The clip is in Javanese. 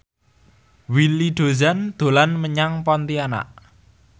Willy Dozan dolan menyang Pontianak